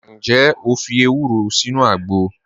Njẹ́ o fi èwùró sínu àgbọ̀?